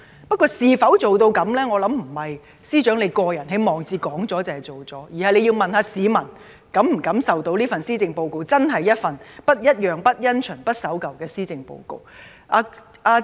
不過，能否辦到，我相信並非司長在個人網誌發表了便當做了，而是要問市民，他們是否感受到這份施政報告是真正的"不一樣、不因循、不守舊"。